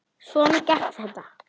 Svona gekk þetta.